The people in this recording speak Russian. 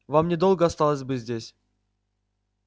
вам недолго осталось быть здесь